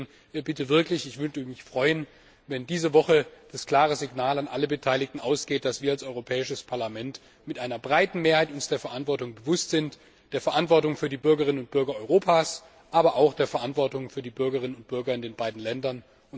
Und deswegen würde ich mich wirklich freuen, wenn diese Woche das klare Signal an alle Beteiligten ausgeht, dass wir uns als Europäisches Parlament mit einer breiten Mehrheit der Verantwortung bewusst sind, der Verantwortung für die Bürgerinnen und Bürger Europas, aber auch der Verantwortung für die Bürgerinnen und Bürger in den beiden Ländern.